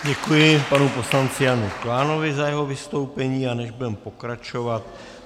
Děkuji panu poslanci Janu Klánovi za jeho vystoupení a my budeme pokračovat.